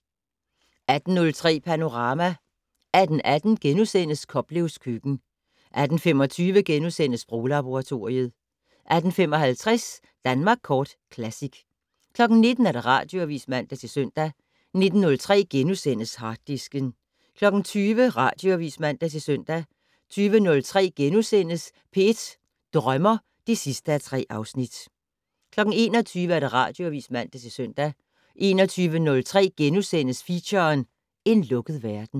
18:03: Panorama 18:18: Koplevs køkken * 18:25: Sproglaboratoriet * 18:55: Danmark Kort Classic 19:00: Radioavis (man-søn) 19:03: Harddisken * 20:00: Radioavis (man-søn) 20:03: P1 Drømmer (3:3)* 21:00: Radioavis (man-søn) 21:03: Feature: En lukket verden *